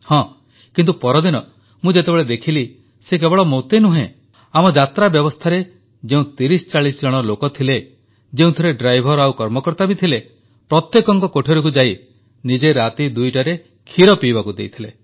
ହଁ କିନ୍ତୁ ପରଦିନ ମୁଁ ଯେତେବେଳେ ଦେଖିଲି ସେ କେବଳ ମୋତେ ନୁହଁ ଆମର ଯାତ୍ରା ବ୍ୟବସ୍ଥାରେ ଯେଉଁ 3040 ଜଣ ଲୋକ ଥିଲେ ଯେଉଁଥିରେ ଡ୍ରାଇଭର୍ ଆଉ କର୍ମକର୍ତ୍ତା ଥିଲେ ପ୍ରତ୍ୟେକଙ୍କ କୋଠରିକୁ ଯାଇ ନିଜେ ରାତି 2ଟାରେ କ୍ଷୀର ପିଇବାକୁ ଦେଇଥିଲେ